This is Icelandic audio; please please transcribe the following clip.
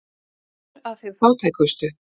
Aðför að þeim fátækustu